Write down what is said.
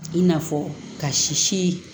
I n'a fɔ ka sisi